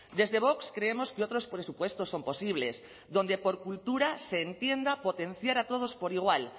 desde vox creemos que otros presupuestos son posibles donde por cultura se entienda potenciar a todos por igual